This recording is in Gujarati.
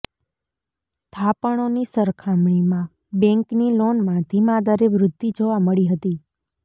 થાપણોની સરખામણીમાં બેન્કની લોનમાં ધીમા દરે વૃદ્ધિ જોવા મળી હતી